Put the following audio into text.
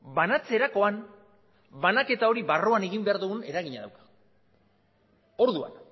banatzerakoan banaketa hori barruan egin behar dugun eragina dauka orduan